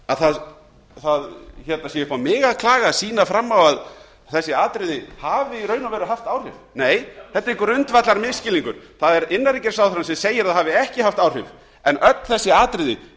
að það sé upp á mig að klaga að sýna fram á að þessi atriði hafi í raun og veru haft áhrif nei þetta er grundvallarmisskilningur það er innanríkisráðherrann sem segir að það hafi ekki haft áhrif en öll þessi atriði